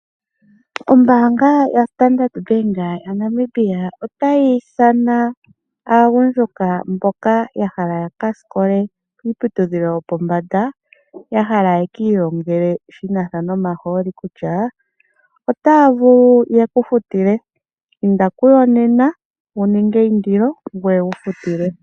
Ombaanga yoStandard bank yaNamibia otayi ithana aagundjuka mboka ya hala yakasikole kiiputudhilo yopombanda, ya hala yekiilongele shinasha nomahooli kutya, otaya vulu yeku futile. Inda kuyo nena wuninge eindilo ngoye wu futilwe.